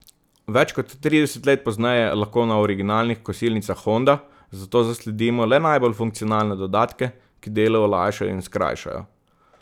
Več kot trideset let pozneje lahko na originalnih kosilnicah Honda zato zasledimo le najbolj funkcionalne dodatke, ki delo olajšajo in skrajšajo.